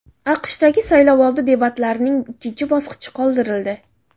AQShdagi saylovoldi debatlarining ikkinchi bosqichi qoldirildi.